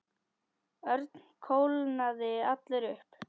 Örn kólnaði allur upp.